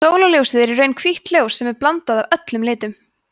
sólarljósið er í raun hvítt ljós sem er blanda af öllum litum